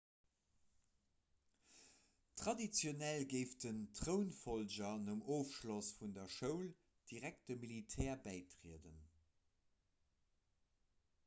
traditionell géif den trounfollger nom ofschloss vun der schoul direkt dem militär bäitrieden